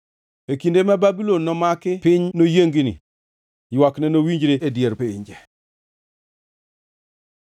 E kinde ma Babulon nomaki piny noyiengni; ywakne nowinjre e dier pinje.